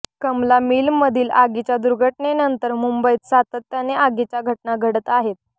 कमला मिलमधील आगीच्या दुर्घटनेनंतर मुंबईत सातत्याने आगीच्या घटना घडत आहेत